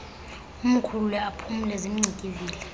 umkhulule aphumle zimngcikivile